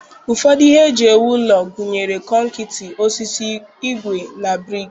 Ụfọdụ ihe eji ewu ụlọ gụnyere konkịtị, osisi, ígwè na brik.